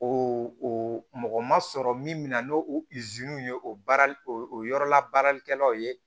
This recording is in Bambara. O o mɔgɔ ma sɔrɔ min min na n'o ye o baara o yɔrɔla baaralikɛlaw ye